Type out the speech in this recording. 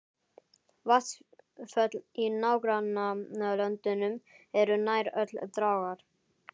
Vatnsföll í nágrannalöndunum eru nær öll dragár.